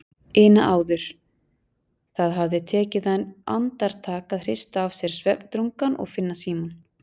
ina áður, það hafði tekið hann andartak að hrista af sér svefndrungann og finna símann.